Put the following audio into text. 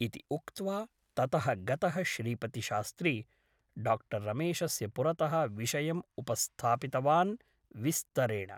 इति उक्त्वा ततः गतः श्रीपतिशास्त्री डाक्टर् रमेशस्य पुरतः विषयम् उपस्थापितवान् विस्तरेण ।